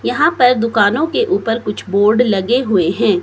यहाँ पर दुकानों के ऊपर कुछ बोर्ड लगे हुए हैं।